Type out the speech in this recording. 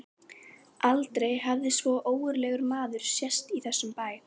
Aldrei hafði svo ógurlegur maður sést í þessum bæ.